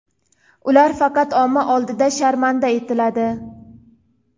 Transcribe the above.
ular faqat omma oldida sharmanda etiladi.